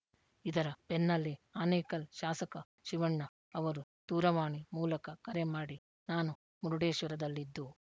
ಇದರ ಬೆನ್ನಲ್ಲೇ ಆನೇಕಲ್‌ ಶಾಸಕ ಶಿವಣ್ಣ ಅವರು ದೂರವಾಣಿ ಮೂಲಕ ಕರೆ ಮಾಡಿ ನಾನು ಮುರ್ಡೇಶ್ವರದಲ್ಲಿದ್ದು